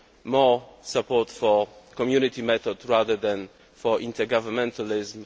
more support for the Community method rather than intergovernmentalism